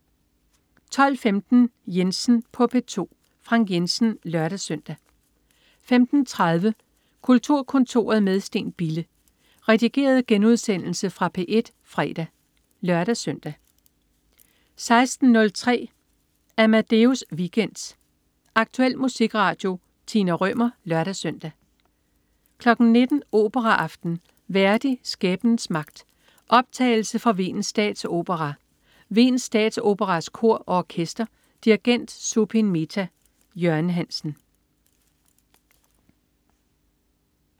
12.15 Jensen på P2. Frank Jensen (lør-søn) 15.30 Kulturkontoret med Steen Bille. Redigeret genudsendelse fra P1 fredag (lør-søn) 16.03 Amadeus Weekend. Aktuel musikradio. Tina Rømer (lør-søn) 19.00 Operaaften. Verdi: Skæbnens Magt. Optagelse fra Wiens Statsopera. Wiens Statsoperas Kor og Orkester. Dirigent: Zubin Mehta. Jørgen Hansen